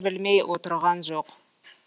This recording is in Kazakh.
білмей отырған жоқ